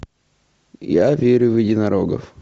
я верю в единорогов